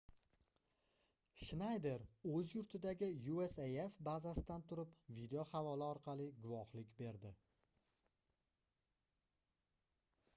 shnayder oʻz yurtidagi usaf bazasidan turib video havola orqali guvohlik berdi